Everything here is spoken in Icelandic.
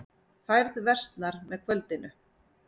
Færð versnar með kvöldinu